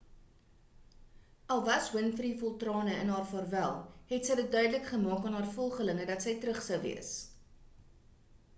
al was winfrey vol trane in haar vaarwel het sy dit duidelik gemaak aan haar volgelinge dat sy terug sou wees